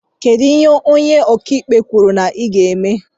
Kedụ ihe ónyé ọkà ikpe kwụrụ na i ga-eme?